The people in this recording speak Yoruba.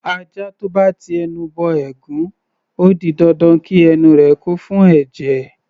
Ajá tó bá ti ẹnu bọ ẹ̀gún, ó di dandan kí ẹnu rẹ̀ kún fún ẹ̀jẹ̀.